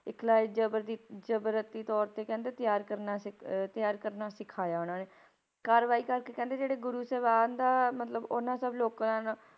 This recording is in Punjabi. ਇਖਲਾਈ ਜ਼ਬਰ ਦੀ ਜਜ਼ਬਾਤੀ ਤੌਰ ਤੇ ਕਹਿੰਦੇ ਤਿਆਰ ਕਰਨਾ ਸਿੱਖ ਅਹ ਤਿਆਰ ਕਰਨਾ ਸਿਖਾਇਆ ਉਹਨਾਂ ਨੇ, ਕਰਵਾਈ ਕਰ ਕੇ ਕਹਿੰਦੇ ਜਿਹੜੇ ਗੁਰੂ ਸਾਹਿਬ ਦਾ ਮਤਲਬ ਉਹਨਾਂ ਸਭ ਲੋਕਾਂ ਨਾਲ